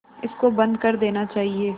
इसको बंद कर देना चाहिए